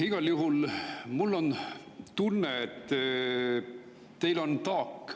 Igal juhul on mul tunne, et teil on taak.